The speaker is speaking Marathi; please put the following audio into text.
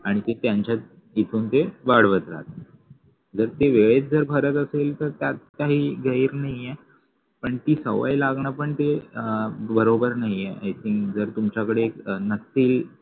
आणि ते त्यांच्या तिथून ते वाढवत राहता जर ते वेळेत जर भरत असेल तर त्यात काही गैर नाहीये पण ती सवय लागण पण ते अं बरोबर नाहीये i think जर तुमच्या कडे एक नक्की